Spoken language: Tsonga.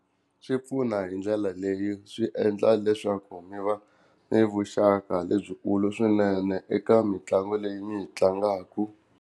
Swi pfuna hi ndlela leyo swi endla leswaku mi va mi vuxaka lebyikulu swinene eka mitlangu leyi mi yi tlangaku.